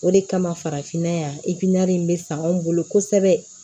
O de kama farafinna yan in bɛ san anw bolo kosɛbɛ